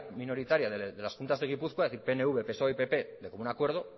minoritaria de las juntas de gipuzkoa es decir pnv psoe y pp de común acuerdo